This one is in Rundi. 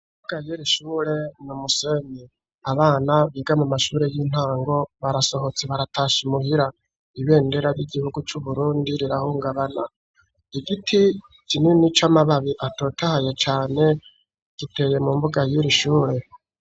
Imbuga yir'Ishure ni umusenyi abana biga mu mashuri y'intango barasohotse baratashe imuhira, ibendera ry'igihugu c'Uburundi rirahungabana, igiti kinini c'amababi atotahaye cane giteye mu mbuga yuri ishure.